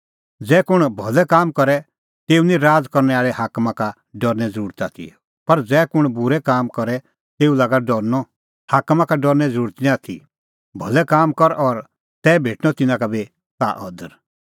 ज़ै कुंण भलै काम करे तै निं तेऊ राज़ करनै आल़ै हाकमा का डरने ज़रुरत आथी पर ज़ै कुंण बूरै काम करे तेऊ लागा डरनअ हाकमा का डरने निं ज़रुरत आथी भलै काम कर और तै भेटणअ तिन्नां का बी ताह अदर